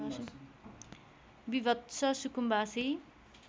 विभत्स सुकुम्बासी